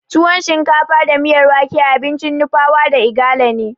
Tuwon shinkafa da miyar wake abincin Nupawa da Igala ne.